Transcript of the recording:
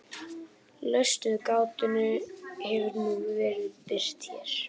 lausn við gátunni hefur nú verið birt hér